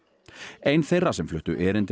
ein þeirra sem fluttu erindi á